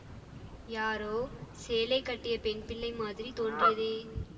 யாரோ சேலை கட்டிய பெண்பிள்ளை மாதிரி தோன்றியதே